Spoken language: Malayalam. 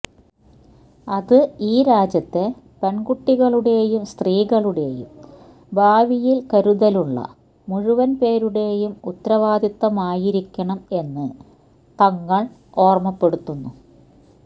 അത് ഈ രാജ്യത്തെ പെണ്കുട്ടികളുടെയും സ്ത്രീകളുടെയും ഭാവിയില് കരുതലുള്ള മുഴുവന് പേരുടെയും ഉത്തരവാദിത്വമായിരിക്കണം എന്ന് തങ്ങള് ഓര്മ്മപ്പെടുത്തുന്നു